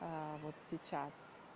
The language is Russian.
а вот сейчас